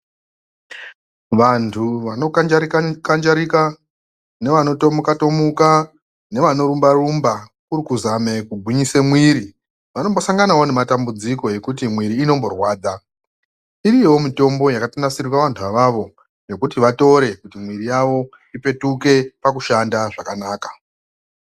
Vantu vanokanjarika- kanjarika, nevano tomuka- tomuka, nevano rumba- rumba kurikuzame kugwinyise mwiri, vanombosanganawo nematambudziko nekuti mwiri inomborwadza. Iriyowo mitombo yakatonasirirwe vantu avavo yekuti vatore kuti mwiri yavo ipetuke pakushanda zvakanaka.